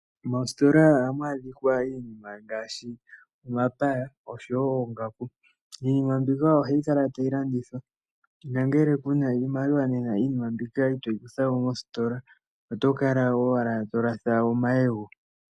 Moositola oha mu adhikwa iinima ngaashi omapaya, osho wo oongaku. Iinima mbika oha yi kala tayi landithwa, nangele ku na iimaliwa iinima mbika ito yi kutha mo mositola. Oto kala owala to latha omayego.